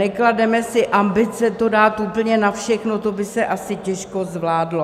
Neklademe si ambice to dát úplně na všechno, to by se asi těžko zvládlo.